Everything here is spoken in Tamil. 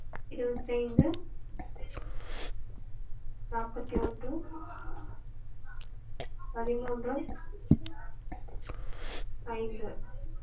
இருவத்தைந்து நாப்பத்தியொன்று பதிமூன்று ஐந்து